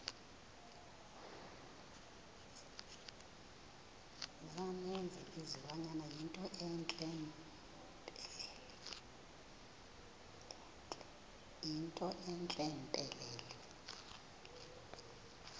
yinto entle mpelele